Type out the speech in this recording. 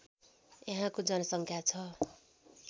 यहाँको जनसङ्ख्या छ